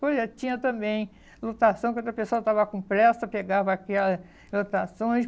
Por exemplo, tinha também lotação quando o pessoal estava com pressa, pegava aquelas lotações.